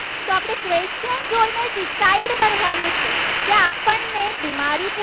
કે આપણને બીમારી